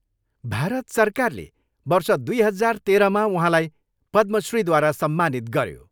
भारत सरकारले वर्ष दुई हजार तेह्रमा उहाँलाई पद्मा श्रीद्वारा सम्मानित गऱ्यो।